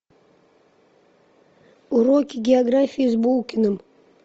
уроки географии с булкиным